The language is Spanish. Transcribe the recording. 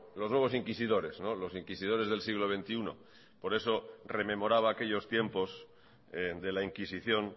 los nuevos inquisidores los inquisidores del siglo veintiuno por eso rememoraba aquellos tiempos de la inquisición